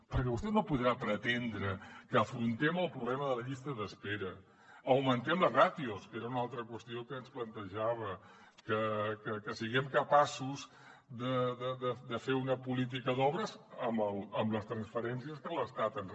perquè vostè no pot pretendre que afrontem el problema de les llistes d’espera augmentem les ràtios que era una altra qüestió que ens plantejava que siguem capaços de fer una política d’obres amb les transferències que l’estat ens re